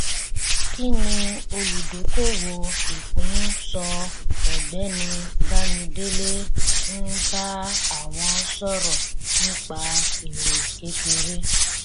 kí ni olùdókòwò ìpín ń sọ ọgbẹni bámidélé ń bá àwọn sọrọ nípa èrè kékeré